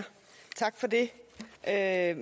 at